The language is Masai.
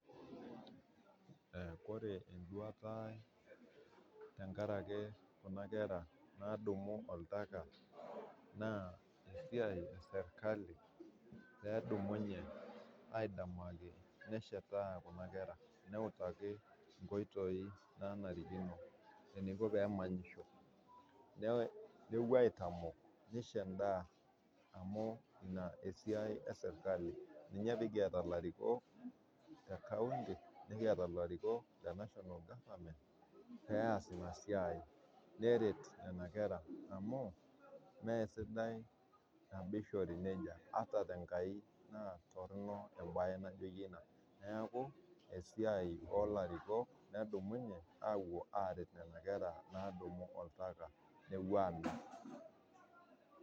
Ore enduata ai tenkaraki kuna kera nadumu oltaka naa esiai e serikali pee edumunye aidamaki neshetaa kuna kera neutaki nkoitoi naanarikino eneiko pee emanyisho. Newuo aitamok neisho endaa amu inaa esiai ee serikali. Naa ninye pee kieta ilarikoK le kaunti nekiata larikoK le national government pee eaas ina siai neret nena kera amu mee sidai nabo eishori neija ata te Enkai naa torono embaye naijoyie ina. Neaku esiai oo larikok pee edumunye awuo aaret nena kera naadumu oltaka newuo aret.